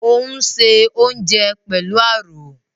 Ò ń se oúnjẹ pẹ̀lú àrò